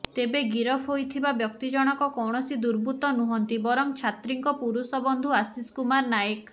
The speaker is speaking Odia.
ତେବେ ଗିରଫ ହୋଇଥିବା ବ୍ୟକ୍ତି ଜଣକ କୌଣସି ଦୁର୍ବୃତ ନୁହଁନ୍ତି ବରଂ ଛାତ୍ରୀଙ୍କ ପୁରୁଷ ବନ୍ଧୁ ଆଶିଷ କୁମାର ନାୟକ